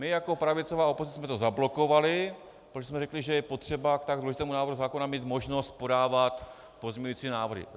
My jako pravicová opozice jsme to zablokovali, protože jsme řekli, že je potřeba k tak důležitému návrhu zákona mít možnost podávat pozměňující návrhy.